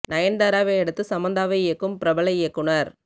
நயன்தாராவை அடுத்து சமந்தாவை இயக்கும் பிரபல இயக்குனர்